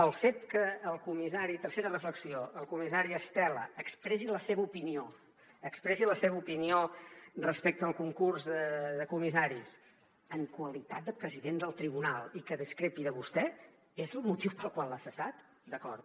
el fet que el comissari tercera reflexió estela expressi la seva opinió expressi la seva opinió respecte al concurs de comissaris en qualitat de president del tribunal i que discrepi de vostè és el motiu pel qual l’ha cessat d’acord